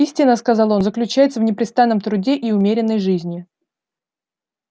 истина сказал он заключается в непрестанном труде и умеренной жизни